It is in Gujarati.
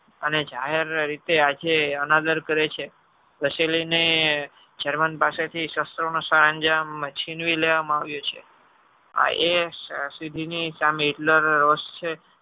અને જાહેર રીતે આજે અનાદરકરે છે. germany પાસે થી સરંજામ છીનવી લેવા માં આવીયો છે આ એ સીધી ની સામે Hitler રોષ છે.